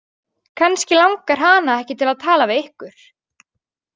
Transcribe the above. Kannski langar hana ekki til að tala við ykkur.